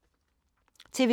TV 2